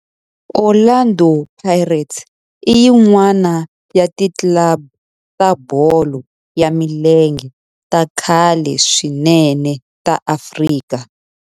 Orlando Pirates i yin'wana ya ti club ta bolo ya milenge ta khale swinene ta Afrika.